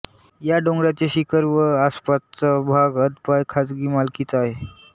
या डोंगराचे शिखर व आसपासचा भाग अद्पाय खाजगी मालकीचा आहे